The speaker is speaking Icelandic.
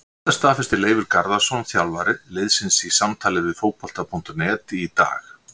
Þetta staðfesti Leifur Garðarsson þjálfari liðsins í samtali við Fótbolta.net í dag.